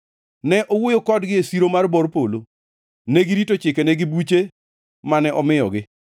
Ne owuoyo kodgi e siro mar bor polo; negirito chikene gi buche mane omiyogi.